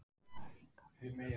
Jarðhræringar við Grímsvötn